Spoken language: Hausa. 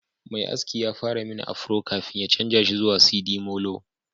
Mai aski ya fara mini afro kafin ya canza shi zuwa sidimolo